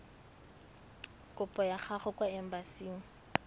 kopo ya gago kwa embasing